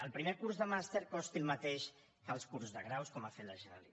el primer curs de màster costi el mateix que els cursos de graus com ha fet la generalitat